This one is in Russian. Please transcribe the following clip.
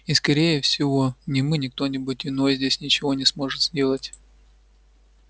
и скорее всего ни мы ни кто-нибудь иной здесь ничего не сможет сделать